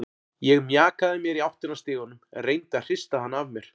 Ég mjakaði mér í áttina að stiganum, reyndi að hrista hana af mér.